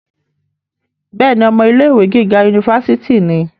bẹ́ẹ̀ni, ọmọ ilé ìwé gíga unifásitì ni